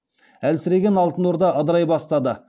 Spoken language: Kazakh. әлсіреген алтын орда ыдырай бастады